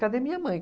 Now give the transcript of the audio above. Cadê minha mãe?